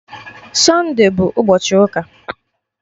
Sunde bụ ụbọchị ụka